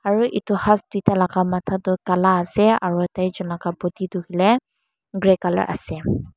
aru etu hass tuida laga matha tu kala ase aru tai jon laga body tu hoile grey colour ase.